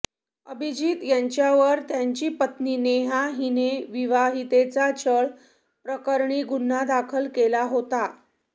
अभिजीत यांच्यावर त्यांची पत्नी नेहा हिने विवाहितेचा छळ प्रकरणी गुन्हा दाखल केला होता